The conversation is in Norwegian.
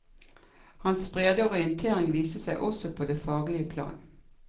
Hans brede orientering viste seg også på det faglige plan.